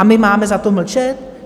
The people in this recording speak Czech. A my máme za to mlčet?